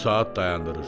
O saat dayandırır.